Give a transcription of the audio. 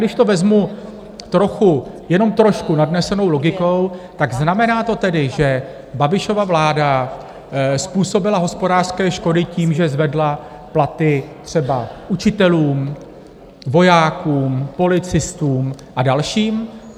Když to vezmu trochu, jenom trošku nadnesenou logikou, tak znamená to tedy, že Babišova vláda způsobila hospodářské škody tím, že zvedla platy třeba učitelům, vojákům, policistům a dalším?